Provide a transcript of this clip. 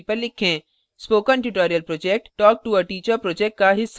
spoken tutorial project talktoa teacher project का हिस्सा है